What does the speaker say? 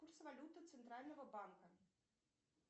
курс валюты центрального банка